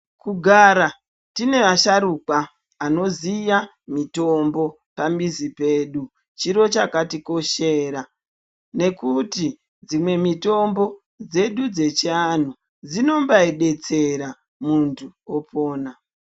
Kugara tine asharukwa anoziya mitombo pamizi pedu chiro chakatikoshera nekuti dzimwe mitombo dzedu dzechianhu dzino badetsera muntu opona.